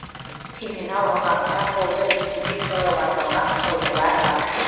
терминал аумағында қолды дезинфекциялауға арналған құрылғылар бар